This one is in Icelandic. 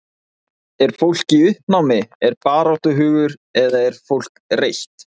Er fólk í uppnámi, er baráttuhugur eða er fólk reitt?